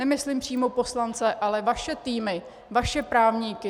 Nemyslím přímo poslance, ale vaše týmy, vaše právníky.